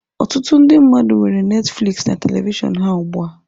Ọtụtụ ndị mmadụ nwere Netifliks na telivishọn ha ugbu a.